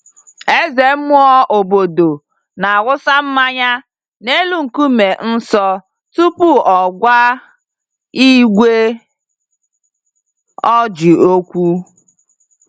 Eze mmụọ obodo na-awụsa mmanya n'elu nkume nsọ tupu ọ gwa igwe ojii okwu